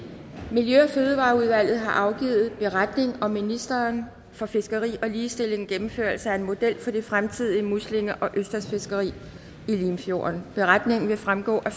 miljø og fødevareudvalget har afgivet beretning om ministeren for fiskeri og ligestillings gennemførelse af en model for det fremtidige muslinge og østersfiskeri i limfjorden beretningen vil fremgå af